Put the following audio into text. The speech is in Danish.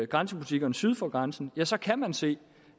grænsebutikkerne syd for grænsen ja så kan man se